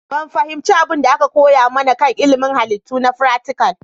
Ban fahimci abin da aka koya mana kan ilimin Halittu na fratical